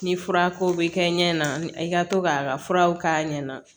Ni fura ko bɛ kɛ ɲɛ na i ka to k'a ka furaw k'a ɲɛ na